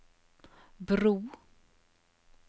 bro